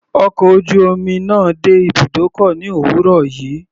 Ọkọ̀ ojú omi náà dé ibùdókọ̀ ní òwúrọ̀ yìí.